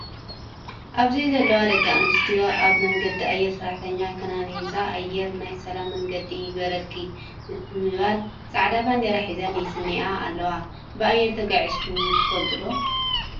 ኣብዚ ዘለዋ ደቂ ኣንስትዮ ኣብ መንገዲ ኣየረ ሰራሕተኛ ከይነንነዛ ኣየር ናይ ሰላም መንገዲ ይግበረልኪ ንምባል ፃዕዳ ባንዴራ ሒዘን ይስንይኣ ኣለዋ። ብኣየረ ተጓዒዝኩም ትፈልጡ ዶ?